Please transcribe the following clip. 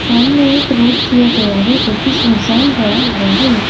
सामने एक रोड़ दिया गया है जो कि सुनसान पड़ा हुआ है ।